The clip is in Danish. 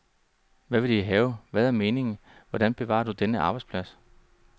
Hvad vil de have, hvad er meningen, hvordan bevarer du denne arbejdsplads?